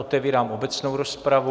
Otevírám obecnou rozpravu.